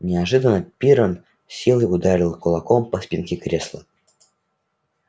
неожиданно пиренн с силой ударил кулаком по спинке кресла